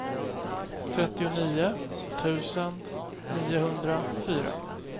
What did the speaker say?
trettionio tusen niohundrafyra